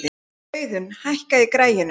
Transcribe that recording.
Auðun, hækkaðu í græjunum.